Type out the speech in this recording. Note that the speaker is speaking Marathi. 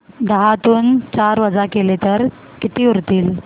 दहातून चार वजा केले तर किती उरतील